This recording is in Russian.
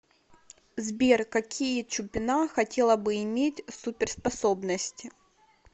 сбер какие чупина хотела бы иметь суперспособности